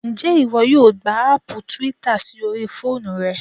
Ǹjẹ́ ìwọ yóò gba aàpù twitter sí orí fóònù rẹ?